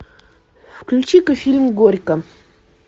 включи ка фильм горько